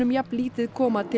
jafn lítið koma til